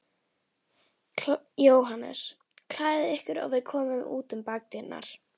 JÓHANNES: Klæðið ykkur og við komum út um bakdyrnar.